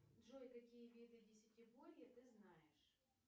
джой какие виды десятиборья ты знаешь